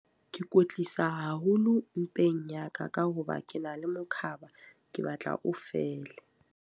Ke kwetlisa haholo mpeng ya ka. Ka hoba ke na le mokhaba, ke batla o fele.